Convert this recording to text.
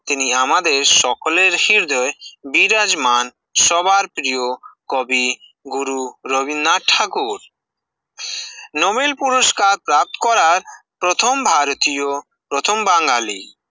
তিনি আমাদের সকলের হৃদয়ে, বিরাজমান, সবার প্রিয় কবি গুরু রবীন্দ্রনাথ ঠাকুর, নোবেল পুরস্কার প্রাপ্ত করার প্রথম ভারতীয়, প্রথম বাঙালি